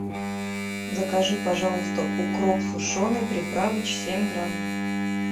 закажи пожалуйста укроп сушеный приправыч семь грамм